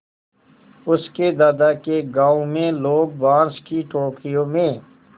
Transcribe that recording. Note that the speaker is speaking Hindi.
उसके दादा के गाँव में लोग बाँस की टोकरियों में